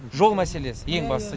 жол мәселесі ең бастысы